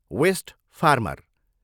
West farmer.